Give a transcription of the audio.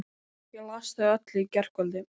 Ég las þau öll í gærkvöldi.